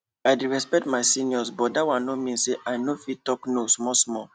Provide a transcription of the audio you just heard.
i de respect my seniors but dat one nor mean say i nor fit talk no small small